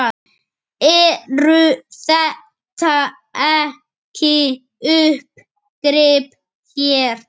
Eru þetta ekki uppgrip hér?